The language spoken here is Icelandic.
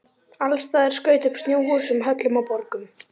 Alls staðar skaut upp snjóhúsum, höllum og borgum.